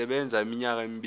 sisebenza iminyaka emibili